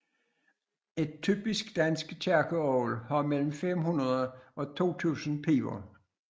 Et typisk dansk kirkeorgel har mellem 500 og 2000 piber